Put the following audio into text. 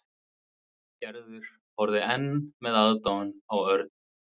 Gerður og horfði enn með aðdáun á Örn.